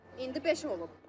İndi beş olub.